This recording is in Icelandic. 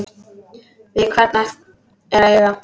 Við hvern er að eiga?